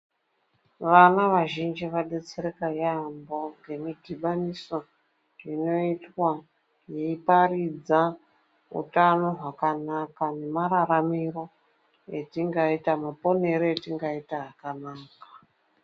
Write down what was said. Vana vazhinji vabetsereka yaemho ngemidhibhaniso inoitwa yeiparidza ukama hwakanaka nemararamiro etingaita, nemaponero etingaita akanaka.